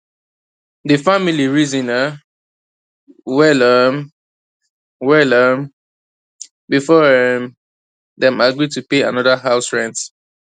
d family reason um well um well um before um dem agree to pay another house rent